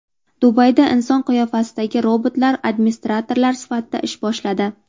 Dubayda inson qiyofasidagi robotlar administrator sifatida ish boshladi.